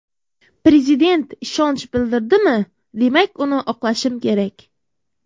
Prezident ishonch bildirdimi, demak uni oqlashim kerak.